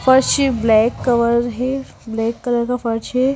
फर्स् shape black cover है black colour का purse है।